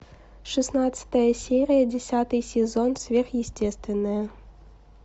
шестнадцатая серия десятый сезон сверхъестественное